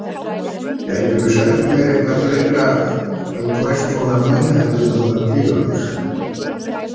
Gætirðu sagt mér eitthvað fleira um hvers konar menn hefðu höfðað til hans?